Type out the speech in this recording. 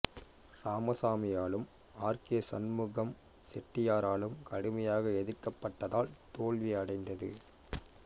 ராமசாமியாலும் R K Shanmugam செட்டியாராலும் கடுமையாக எதிர்க்கப்பட்டதால் தோல்வியடைந்தது